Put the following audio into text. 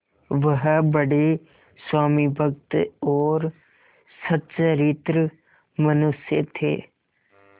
वह बड़े स्वामिभक्त और सच्चरित्र मनुष्य थे